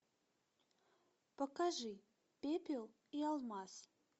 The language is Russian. покажи пепел и алмаз